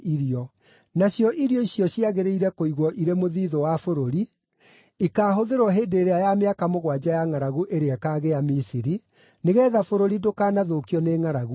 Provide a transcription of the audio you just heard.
Nacio irio icio ciagĩrĩire kũigwo irĩ mũthiithũ wa bũrũri, ikaahũthĩrwo hĩndĩ ĩrĩa ya mĩaka mũgwanja ya ngʼaragu ĩrĩa ĩkaagĩa Misiri, nĩgeetha bũrũri ndũkanathũkio nĩ ngʼaragu ĩyo.”